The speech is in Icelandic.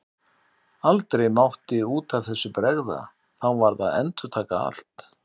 Aldrei mátti út af þessu bregða, þá varð að endurtaka allt.